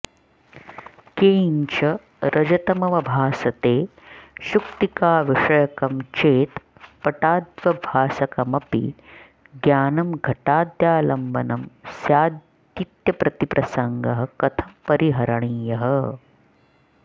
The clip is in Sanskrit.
किञ्च रजतमवभासते शुक्तिकाविषयकं चेत् पटाद्य्वभासकमपि ज्ञानं घटाद्यालम्बनं स्यादित्यतिप्रसङ्गः कथं परिहरणीयः